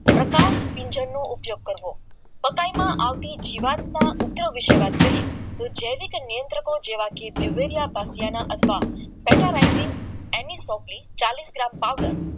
પ્રકાશનો ઉપયોગ કરવો મકાઈમાં આવતી ડિમાર્ટમાં ઉપગ્રહ વાત કરીએ તો જૈવિક નિયંત્ર રાખો જેવા કે યુરેડિયા અથવા રાઇટીંગ એની ગામ પાવડર